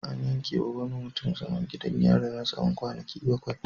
An yankewa wani mutum zaman gidan yari na tsawon kwanaki bakwai.